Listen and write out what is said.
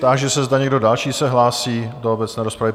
Táži se, zda někdo další se hlásí do obecné rozpravy?